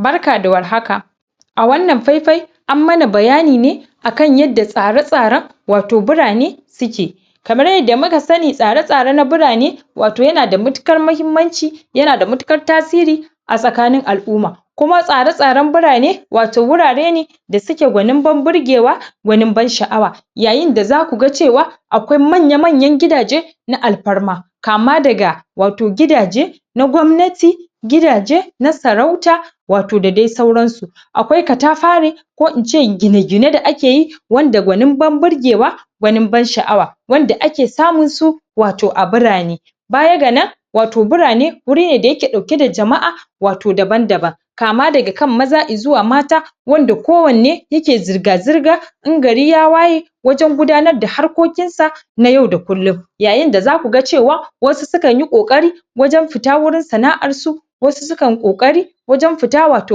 Barka da war haka a wannan fai-fai an mana bayani ne akan yadda tsara-tsaran wato birane ta ke kamar yadda muka sani tsare-tsare na birane wato yana da matuƙar mahimmanci yanada matuƙar tasiri a tsaƙanin al'uma kuma tsare-tsaren birane wato wurare ne da suke gwanin ban birgewa gwanin ban sha'awa. Yayinda za kuga cewa akwai manya-manyan gidaje na al parma kama daga wato gidaje na gwamnati gidaje na sarauta wato da dai sauransu akwai katafarin ko ince gine-gine da akeyi wanda gwanin ban birgewa gwanin ban sha'awa wanda ake samun su wato a birane. Baya ga nan wato birane wuri ne da yake ɗauke da jama'a wato daban-daban kama daga kan maza izuwa mata wanda kowanne ya ke zirga-zirga in gari ya waye wajan gudanar da harkokin sa na yau da kullum. Yayinda za kuga cewa wasu sukanyi ƙoƙari wajan pita wurin sana'ar su wasu sukan ƙoƙari wajan fita wato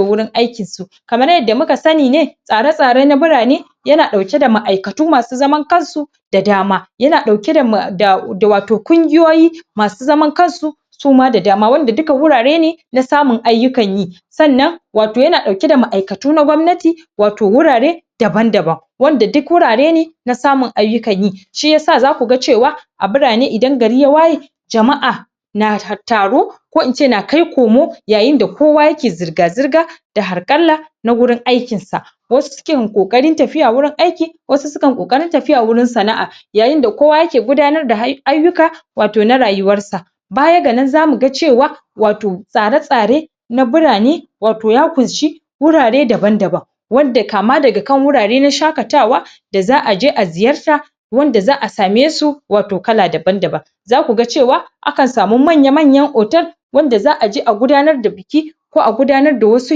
wurin aikin su kamar yadda muka sani ne tsare-tsare na birane yana ɗauke da ma'aikatu masu zaman kansu da dama yana ɗauke da da wato kungiyoyi masu zaman kansu suma da dama wanda dukw wurare ne na samun ayyukan yi. Sannan wato yana ɗauke da ma'aikatu na gwamnati wato wurare daban-daban wanda duk wurare nw na samun ayyukan yi shiyasa za kuga cewa a birane idan gari ya waye jama'a na ta taro ko ince na kaikomo yayinda kowa yake zirga-zirga da harƙalla na gurin aikin sa wasu ƙoƙarin tafiya wurin aiki wasu sukan ƙoƙarin tafiya wurin sana'a yayinda kowa ya ke gudanar da ayyuka wato na rayuwar sa. Baya ga nan za muga cewa wato tsare-tsare na birane wato ya kunshi wurare daban-daban wadda kama daga kan wurare na shakatawa da za'a je a ziyarta wanda za'a same su wato kala daban-daban za kuga cewa akan samu manya manyan otal wadda za'aje a gudanar da biki ko a gudanar da wasu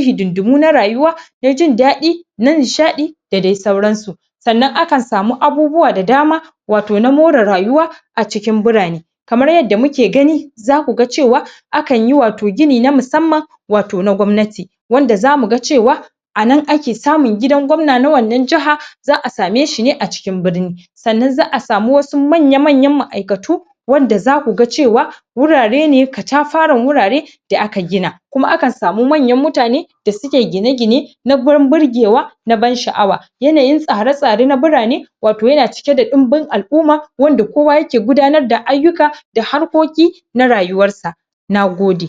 hididdimu na rayuwa na jindaɗi na nishaɗi da dai sauran su. Sannan akan samu abubuwa da dama wato na more rayuwa a cikin birane kamar yadda muke gani za kuga cewa akanyi wato gini na musamman wato na gwamnati wanda za muga cewa anan ake samun gidan gwamna na wannan jiha za'a sameshi ne a cikin birni sannan za'a samu wasu manya-manyan ma'aikatu wanda za kuga cewa wurare ne katafarin wurare da aka gina kuma akan samu manyan mutane da suke gine-gine na gurin birgewa na ban sha'awa yanayin tsare-tsare na birane wato yana cike da ɗinbin al'uma wanda kowa yake gudanar da ayyuka da harkoki na rayuwar sa, nagode.